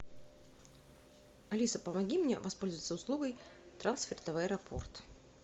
алиса помоги мне воспользоваться услугой трансферта в аэропорт